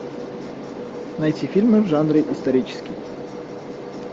найти фильмы в жанре исторический